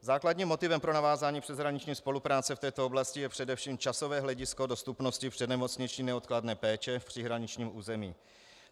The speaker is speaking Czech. Základním motivem pro navázání přeshraniční spolupráce v této oblasti je především časové hledisko dostupnosti přednemocniční neodkladné péče v příhraničním území.